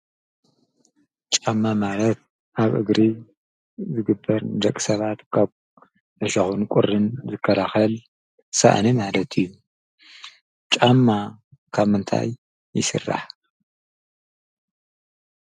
ጫማ ማለት ኣብ እግሪ ዝግበር ዘቕሰባድ ካብ ኣሻኹን ቊርን ዘከላኸል ሰእኒ ኣለት እዩ። ጫማ ካመንታይ ይሥራ?